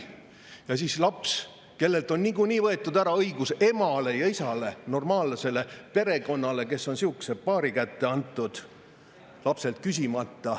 Mõtleme siis lapsele, kellelt on niikuinii võetud ära õigus emale ja isale, normaalsele perekonnale, kes on sihukese paari kätte antud lapselt küsimata.